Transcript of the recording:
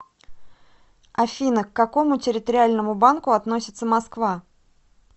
афина к какому территориальному банку относится москва